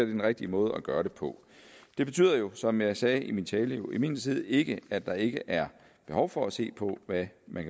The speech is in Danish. den rigtige måde at gøre det på det betyder jo som jeg sagde i min tale imidlertid ikke at der ikke er behov for at se på hvad man